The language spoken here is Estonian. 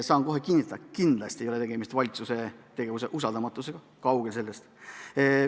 Ma saan kinnitada, et kindlasti ei ole tegemist valitsuse tegevuse usaldamatusega – kaugel sellest.